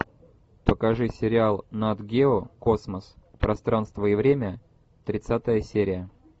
покажи сериал нат гео космос пространство и время тридцатая серия